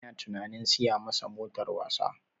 Ina tunanin siya masa motar wasa